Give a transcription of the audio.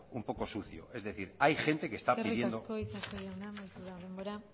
un poco sucio es decir hay gente que esta pidiendo eskerrik asko itxaso jauna amaitu da denbora